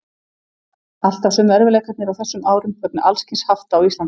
Alltaf sömu erfiðleikarnir á þessum árum vegna alls kyns hafta á Íslandi.